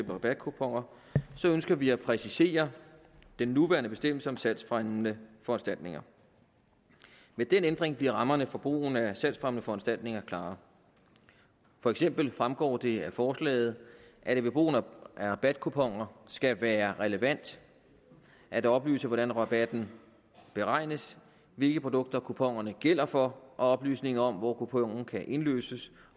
rabatkuponer så ønsker vi at præcisere den nuværende bestemmelse om salgsfremmende foranstaltninger med den ændring bliver rammerne for brugen af salgsfremmende foranstaltninger klare for eksempel fremgår det af forslaget at det ved brugen af rabatkuponer skal være relevant at oplyse hvordan rabatten beregnes hvilke produkter kuponerne gælder for og oplysninger om hvor kuponen kan indløses